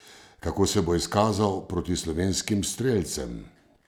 Kako se bo izkazal proti slovenskim strelcem?